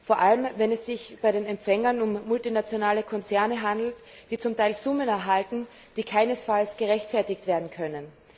Vor allem wenn es sich bei den Empfängern um multinationale Konzerne handelt, die zum Teil Summen erhalten, die keinesfalls gerechtfertigt werden können.